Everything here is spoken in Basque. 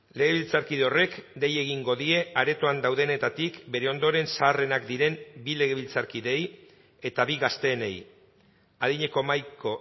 legebiltzarkide horrek dei egingo die aretoan daudenetatik bere ondoren zaharrenak diren bi legebiltzarkideei eta bi gazteenei adineko mahaiko